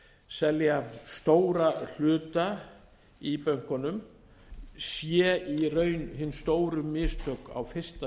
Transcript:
selja stóra hluta í bönkunum séu í raun hin stóru mistök á fyrsta